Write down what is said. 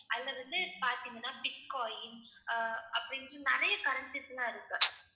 அதுல வந்து பார்த்தீங்கன்னா bitcoin அஹ் அப்படின்னுட்டு நிறைய currencies எல்லாம் இருக்கு.